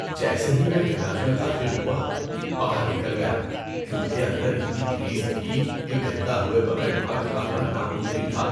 جیسے ہی میں گیراج میں داخل ہوا، باہر نکل گیا کیونکہ اندر اتنی گریس تھی کہ گندا ہوئے بغیر وہاں کھڑا ہونا ناممکن تھا۔